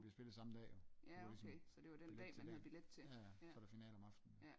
Ja okay så det var den dag man havde billet til ja